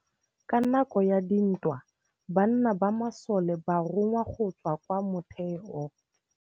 Ka nakô ya dintwa banna ba masole ba rongwa go tswa kwa mothêô.